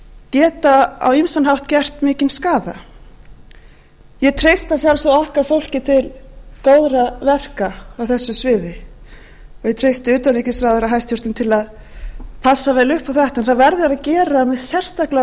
geta á ýmsan hátt gert mikinn skaða ég treysti að sjálfsögðu okkar fólki til góðra verka á þessu sviði og ég treysti utanríkisráðherra hæstvirtur til að passa vel upp á þetta það verður að gera með sérstaklega